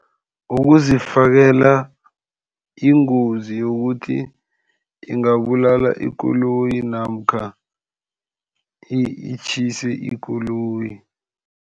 Ukuzifikela ingozi yokuthi ingabulala ikoloyi namkha itjhise ikoloyi.